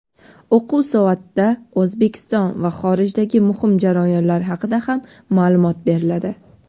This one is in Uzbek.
o‘quv soatida O‘zbekiston va xorijdagi muhim jarayonlar haqida ham maʼlumot beriladi.